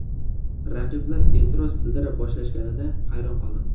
Raqiblar e’tiroz bildira boshlashganida hayron qoldim.